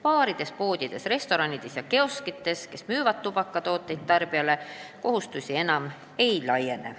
Baarides, poodides, restoranides ja kioskites tubakatooteid tarbijale müüvale ettevõttele see kohustus laiene.